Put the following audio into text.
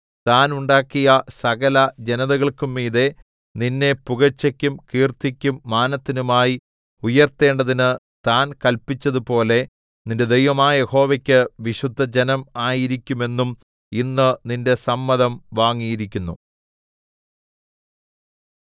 താൻ ഉണ്ടാക്കിയ സകലജനതകൾക്കും മീതെ നിന്നെ പുകഴ്ചയ്ക്കും കീർത്തിക്കും മാനത്തിനുമായി ഉയർത്തേണ്ടതിന് താൻ കല്പിച്ചതുപോലെ നിന്റെ ദൈവമായ യഹോവയ്ക്ക് വിശുദ്ധജനം ആയിരിക്കുമെന്നും ഇന്ന് നിന്റെ സമ്മതം വാങ്ങിയിരിക്കുന്നു